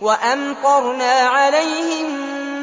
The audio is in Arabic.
وَأَمْطَرْنَا عَلَيْهِم